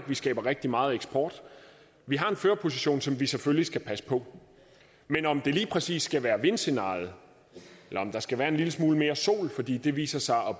vi skaber rigtig meget eksport vi har en førerposition som vi selvfølgelig skal passe på men om det lige præcis skal være vindscenariet eller om der skal være en lille smule mere sol fordi det viser sig at